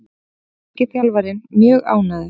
Norski þjálfarinn mjög ánægður